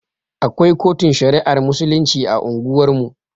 Akwai kotun shari'ar musulunci a unguwar mu